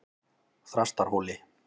Þrastarhóli